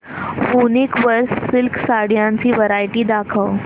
वूनिक वर सिल्क साड्यांची वरायटी दाखव